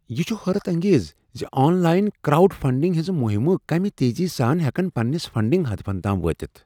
یہ چھ حیرت انگیز ز آن لائن کراؤڈ فنڈنگ ہنٛز مہمہٕ کمِہ تیزی سان ہیکن پننس فنڈنگ ہدفن تام وٲتتھ۔